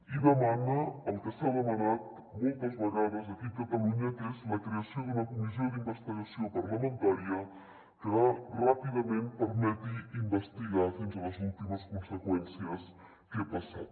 i demana el que s’ha demanat moltes vegades aquí a catalunya que és la creació d’una comissió d’investigació parlamentària que ràpidament permeti investigar fins a les últimes conseqüències què ha passat